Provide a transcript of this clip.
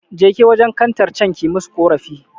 Jeki wajen kantar can ki musu ƙorafi